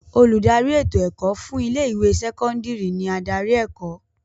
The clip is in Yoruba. Olùdarí ètò ẹ̀kọ́ fún ilé ìwé sẹ́kọ́ńdírì ni adarí ẹ̀kọ́.